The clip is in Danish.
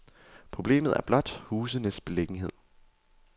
Problemet er blot husenes beliggenhed.